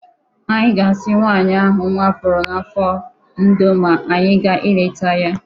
Anyị ga-asi nwaanyị ahụ nnwa pụrụ n n'afọ ndo ma anyị gaa ịleta ya